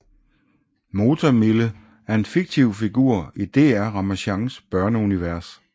Motor Mille er en fiktiv figur i DR Ramasjangs børneunivers